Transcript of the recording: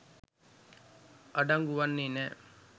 අඩංගු වන්නේ නෑ.